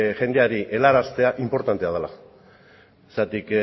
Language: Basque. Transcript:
jendeari helaraztea inportantea dela